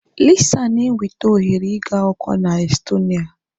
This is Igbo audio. Lisa na enweta ohere ịgụ akwụkwọ na Estonia.